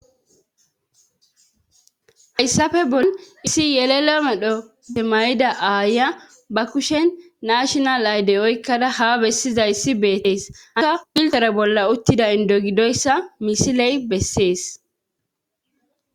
Hayssafe bol isi yelelo medho te mayida aaya ba kushen naashinal aydey oykkada ha bessizayssi beettees aka piltore bolla uttida indo gidoyssa misiley bessees.